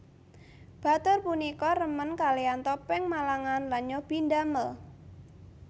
Batur punika remen kalean topeng Malangan lan nyobi ndamel